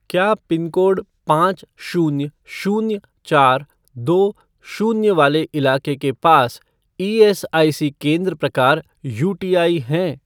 क्या पिनकोड पाँच शून्य शून्य चार दो शून्य वाले इलाके के पास ईएसआईसी केंद्र प्रकार यूटीआई हैं?